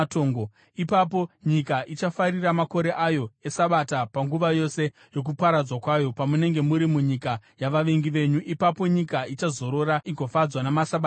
Ipapo nyika ichafarira makore ayo esabata panguva yose yokuparadzwa kwayo pamunenge muri munyika yavavengi venyu; ipapo nyika ichazorora igofadzwa namasabata ayo.